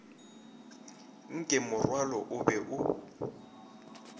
nke morwalo o be o